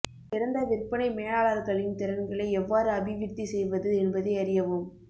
சிறந்த விற்பனை மேலாளர்களின் திறன்களை எவ்வாறு அபிவிருத்தி செய்வது என்பதை அறியவும்